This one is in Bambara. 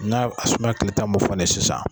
Na asuma ye kile tan mo fɔ ne ye sisan.